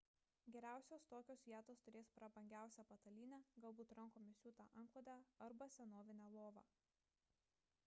geriausios tokios vietos turės prabangiausią patalynę galbūt rankomis siūtą antklodę arba senovinę lovą